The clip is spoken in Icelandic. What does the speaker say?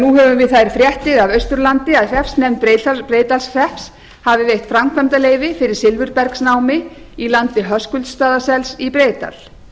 nú höfum við þær fréttir af austurlandi að hreppsnefnd breiðdalshrepps hafi veitt framkvæmdarleyfi fyrir silfurbergsnámi í landi höskuldsstaðasels í breiðdal